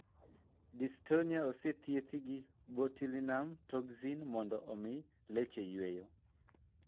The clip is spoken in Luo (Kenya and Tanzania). Dystonia isethiethi gi botulinum toxin mondo omi leche yueyo.